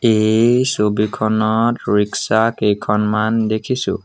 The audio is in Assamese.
এই ছবিখনত ৰিক্সা কেইখনমান দেখিছোঁ।